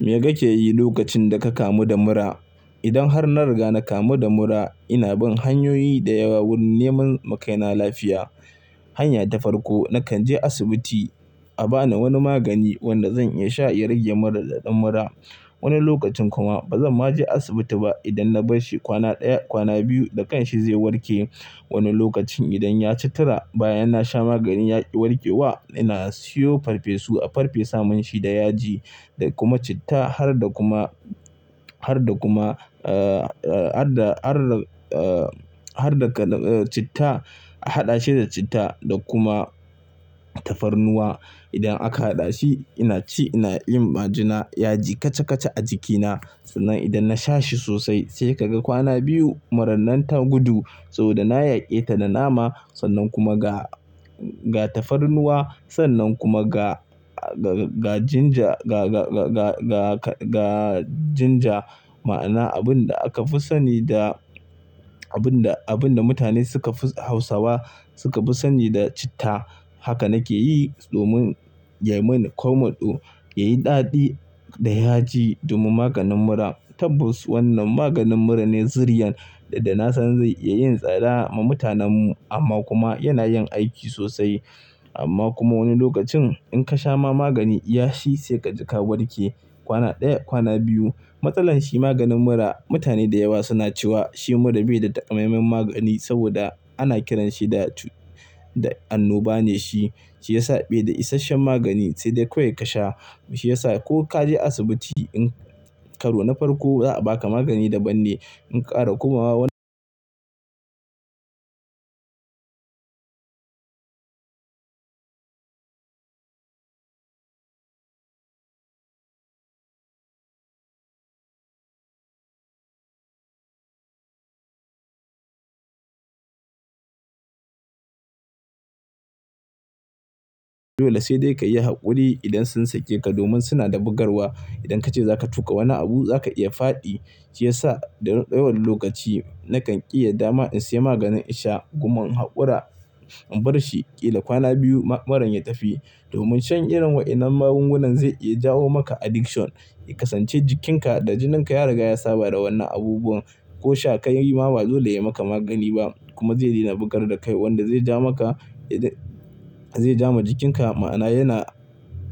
Me kake yi lokacin da ka kamu da mura? Idan har na riga na kamu da mura, ina bin hanyoyi da yawa wurin neman makaina lafiya. Hanya ta farko, na kan je asibiti a ba ni wani magani wanda zan iya sha ya rage mura da ɗan murra. Wani lokacin kuma ba zan ma je asibiti ba idan na bar shi kwana ɗaya, kwana biyu da kanshi zai warke. Wani lokacin idan ya ci tura bayan na sha maganin ya ƙi warke wa, ina siyo farfesu a farfe saman shi da yaji da kuma citta har da kuma, har da kuma, eh, har da, har da, eh, har da ka, citta a haɗa shi da citta da kuma tafarnuwa. Idan aka haɗa shi, ina ci ina yin majina, yaji kacha kacha a jikina. Sannan idan na sha shi sosai sai ka ga kwana biyu murra nan ta gudu saboda na yaƙe ta da nama sannan kuma ga, ga tafarnuwa sannan kuma ga, ga, ga ginger, ga, ga, ga, ga, ga, ga ginger. Ma'ana abun da aka fi sani da, abun da, abun da mutane suka fi Hausawa suka fi sani da citta. Haka nake yi domin ya min komatso, ya yi daɗi da yaji domin maganin murra. Tabbas wannan maganin murra ne siriyan da, da na san zai iya yin tsada ma mutanen mu amma kuma yana yin aiki sosai. Amma kuma wani lokacin in ka sha ma magani yashi sai ka ji ka warke kwana ɗaya, kwana biyu. Matsalanshi maganin murra mutane da yawa suna cewa shi murra bai da takamaiman magani saboda ana kiranshi da cutt, da annoba ne shi. Shi ya sa bai da isasshen magani sai dai kawai ka sha shi ya sa ko ka je asibiti in, karo na farko za a baka magani daɓan ne in ƙara komawa wanda dole sai dai ka yi haƙuri idan sun sake ka domin suna da bugarwa. Idan kace za ka tuƙa wani abu za ka iya faɗi. Shi ya sa da ɗawowar lokaci na kan ƙi yarda ma in sayi maganin in sha. Goman in haƙura in bar shi ƙila kwana biyu maran ya tafi domin shan irin waɗannan magungunan zai iya jawo maka addiction, ya kasance jikinka da jininka ya riga ya saba da wannan abubuwan. Ko sha ka yi ma ba zai dole ya maka magani ba kuma zai daina bugar da kai wanda zai ja maka, zai ja ma jikinka ma'ana yana,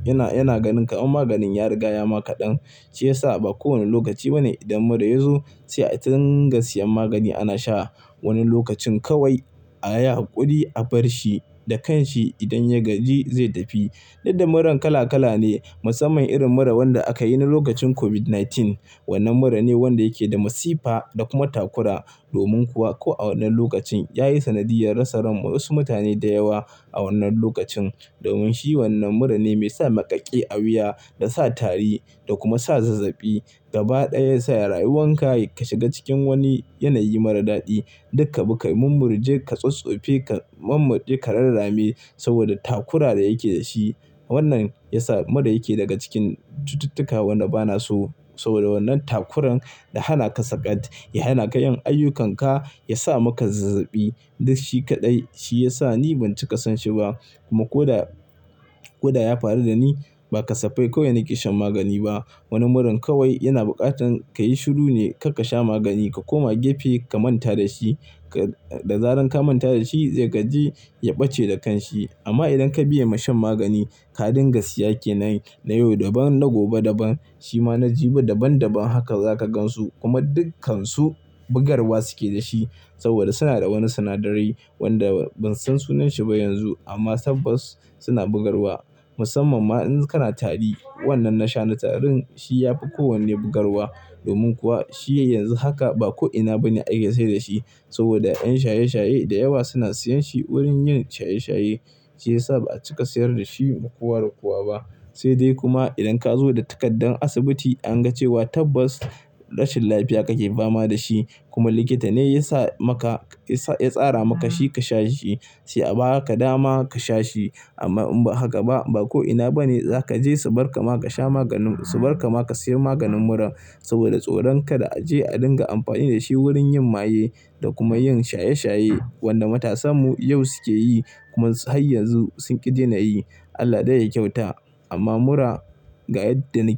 yana, yana ganin ka in maganin ya riga ya ma kaɗan. Shi ya sa ba kowane lokaci bane idan mura yazo sai a dinga siyan magani ana sha. Wani lokacin kawai a yi haƙuri a bar shi da kanshi idan ya gaji zai tafi. Duk da murran kala kala ne musamman irin murra wanda aka yi na lokacin COVID-19. Wannan mura ne wanda yake da masifa da kuma takura. Domin kuwa ko a wannan lokacin ya yi sanadiyar rasa rai wasu mutane da yawa a wannan lokacin. Domin shi wannan murra ne mai sa maƙaƙe a wuya da sa tari da kuma sa zazzabi. Gaba ɗaya ya sa rayuwan ka ka shiga cikin wani yanayi mara daɗi. Duka baka, mummurje, ka tsatsofe, ka mummarde, ka rarrame saboda takura da yake da shi. Wannan ya sa murra yake daga cikin cututtuka wanɗa bana so saboda wannan takuran ya hana ka sakati, ya hana ka yin ayyukanka, ya sa maka zazzabi. Duk shi kaɗai. Shi ya sa ni ban ciƙa son shi ba kuma ko da, ko da ya faru da ni ba ka siffai kawai na ƙi shan magani ba. Wani mura kawai yana buƙatar ka yi shiru ne kar ka sha magani, ka koma gefe ka manta da shi. Da zarar ka manta da shi zai gaji ya ɓace da kanshi. Amma idan ka biya ma shan magani, ka dinga siya kenan na yau daban na gobe daban. Shi ma na jibi daban daban haka za ka gansu kuma dukkansu bugarwa suke da shi saboda suna da wani sinadarai wanda ban san sunanshi ba yanzu amma tabbas suna bugarwa. Musamman ma in kana tari, wannan na sha na tarin shi yafi kowanne bugarwa domin kuwa shi yanzu haka ba ko'ina bane a iya sayar da shi saboda ƴan shaye shaye da yawa suna siyan shi wurin yin shaye shaye. Shi ya sa ba'a cika sayar da shi makuwa da kuwa ba. Sai dai kuma idan ka zo da takardar asibiti an ga cewa tabbas rashin lafiya kake fama da shi kuma likita ne ya sa maka, ya tsara maka shi ka sha shi sai a ba ka dama ka sha shi. Amma haka ba, ba ko'ina bane za ka je su barka ma ka sha maganin, su barka ma ka sayan maganin mura saboda tsoron kada a je a dinga amfani da shi wurin yin maye da kuma yin shaye shaye wanda matasan mu yau suke yi kuma har yanzu sun ƙi dena yi. Allah ɗai yayi kyauta amma mura ga yadda nake.